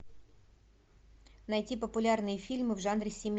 найти популярные фильмы в жанре